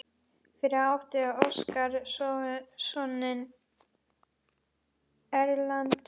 Fyrir átti Óskar soninn Erlend.